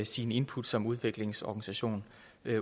sine input som udviklingsorganisation